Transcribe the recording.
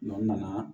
n nana